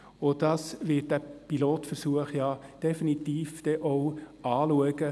Auch das wird dieser Pilotversuch definitiv anschauen.